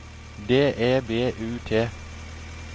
D E B U T